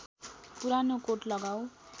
पुरानो कोट लगाउ